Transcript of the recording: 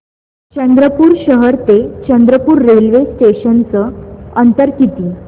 चंद्रपूर शहर ते चंद्रपुर रेल्वे स्टेशनचं अंतर किती